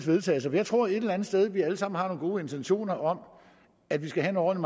vedtagelse for jeg tror et eller andet sted at vi alle sammen har nogle gode intentioner om at vi skal have noget